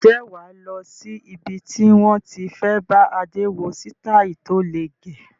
Ǹjẹ́ wà lọ sí ibi tí wón ti fẹ bá Adé wo sitai tó le gẹ̀?